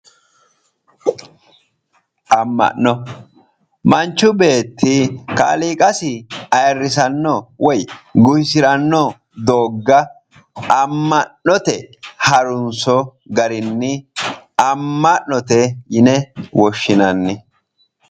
Ama'no manchu beetti kaaliiqasi ayirrisano woyi guwisano dooga ama'note harunso garinni ama'note yinne woshshinanni